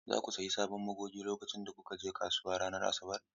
Za ku sayi sabon magogi lokacin da kuka je kasuwa ranar Asabar?